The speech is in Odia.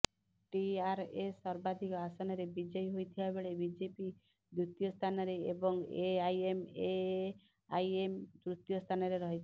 ଟିଆରଏସ ସର୍ବାଧିକ ଆସନରେ ବିଜୟୀ ହୋଇଥିବା ବେଳେ ବିଜେପି ଦ୍ୱିତୀୟ ସ୍ଥାନରେ ଏବଂ ଏଆଇଏମଆଇଏମ ତୃତୀୟ ସ୍ଥାନରେ ରହିଛି